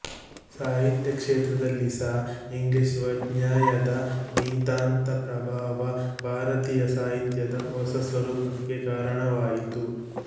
ಸಾಹಿತ್ಯ ಕ್ಷೇತ್ರದಲ್ಲಿ ಸಹ ಇಂಗ್ಲಿಷ್ ವಾಙ್ಮಯದ ನಿತಾಂತಪ್ರಭಾವ ಭಾರತೀಯ ಸಾಹಿತ್ಯದ ಹೊಸ ಸ್ವರೂಪಕ್ಕೆ ಕಾರಣವಾಯಿತು